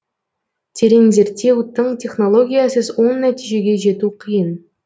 терең зерттеу тың технологиясыз оң нәтижеге жету қиын